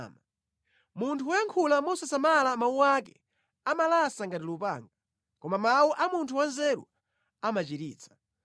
Munthu woyankhula mosasamala mawu ake amalasa ngati lupanga, koma mawu a munthu wanzeru amachiritsa.